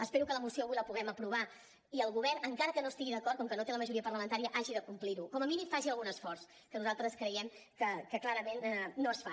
espero que la moció avui la puguem aprovar i el govern encara que no hi estigui d’acord com que no té la majoria parlamentària hagi de complir ho com a mínim faci algun esforç que nosaltres creiem que clarament no es fa